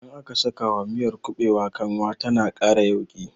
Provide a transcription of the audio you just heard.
Idan aka sakawa miyar kuɓewa kanwa tana ƙara yauƙi